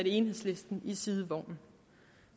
enhedslisten i sidevognen